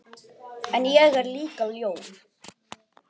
En ég er líka ljón.